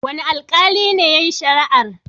Wane aikali ne yayi shari'ar?